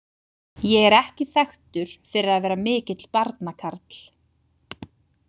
Ég er ekki þekktur fyrir að vera mikill barnakarl.